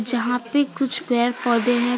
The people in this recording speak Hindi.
जहां पे कुछ पेड़ पौधे हैं।